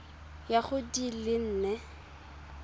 ya go di le nne